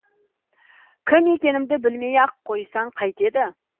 кім екенімді білмей ақ қойсаң қайтеді